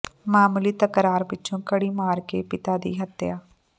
ਮਾਮੂਲੀ ਤਕਰਾਰ ਪਿੱਛੋਂ ਕੜੀ ਮਾਰ ਕੇ ਪਿਤਾ ਦੀ ਹੱਤਿਆ